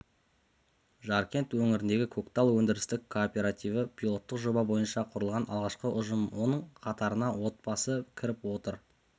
жаркент өңіріндегі көктал өндірістік кооперативі пилоттық жоба бойынша құрылған алғашқы ұжым оның қатарына отбасы кіріп отыр